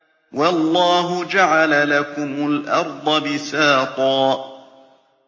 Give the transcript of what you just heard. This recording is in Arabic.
وَاللَّهُ جَعَلَ لَكُمُ الْأَرْضَ بِسَاطًا